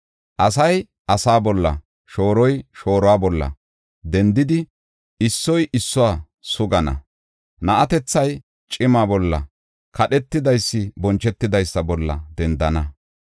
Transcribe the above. Asay asa bolla, shooroy shooruwa bolla dendidi, issoy issuwa sugana. Na7atethay cima bolla, kadhetidaysi bonchetidaysa bolla dendana.